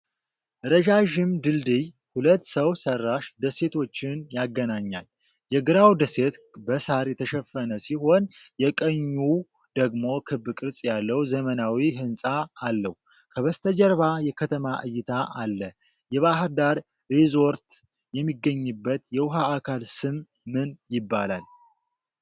ረዣዥም ድልድይ ሁለት ሰው ሰራሽ ደሴቶችን ያገናኛል። የግራው ደሴት በሳር የተሸፈነ ሲሆን፣ የቀኙው ደግሞ ክብ ቅርጽ ያለው ዘመናዊ ሕንፃ አለው። ከበስተጀርባ የከተማ እይታ አለ። የባሕር ዳር ሪዞርት የሚገኝበት የውሃ አካል ስም ምን ይባላል?